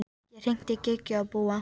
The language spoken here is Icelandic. Ég hringdi í Gígju og Búa.